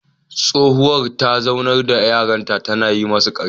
Tsohuwa ta zaunar da yaran tana yi musu karya